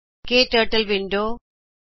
ਕੇ ਟਕਟਲ ਵਿੰਡੋ ਬਾਰੇ